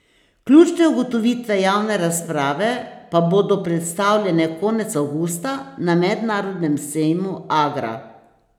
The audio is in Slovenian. Ključne ugotovitve javne razprave pa bodo predstavljene konec avgusta na mednarodnem sejmu Agra.